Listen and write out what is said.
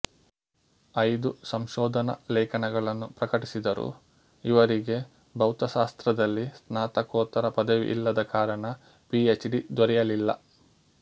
ಐದು ಸಂಶೋಧನಾ ಲೇಖನಗಳನ್ನು ಪ್ರಕಟಿಸಿದರು ಇವರಿಗೆ ಭೌತಶಾಸ್ತ್ರದಲ್ಲಿ ಸ್ನಾತಕೋತ್ತರ ಪದವಿಯಿಲ್ಲದ ಕಾರಣ ಪಿಎಚ್ಡಿ ದೊರೆಯಲಿಲ್ಲ